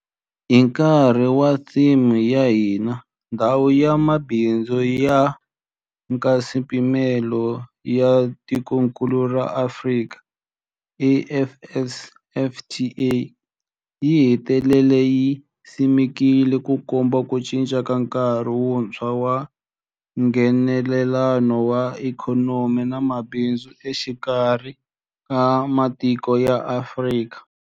Hi nkarhi wa theme ya hina, Ndhawu ya Mabindzu ya Nkaswipimelo ya Tikokulu ra Afrika, AfCFTA, yi hetelele yi simekiwile, Ku komba ku cinca ka nkarhi wuntshwa wa Nghenelelano wa ikhonomi na mabindzu exikarhi ka matiko ya Afrika.